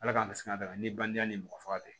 Ala k'an bisimila ni bange ni mɔgɔ faga tɛ